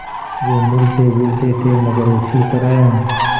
वे मिलतेजुलते थे मगर उसी तरह